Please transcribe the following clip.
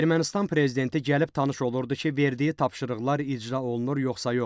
Ermənistan prezidenti gəlib tanış olurdu ki, verdiyi tapşırıqlar icra olunur, yoxsa yox?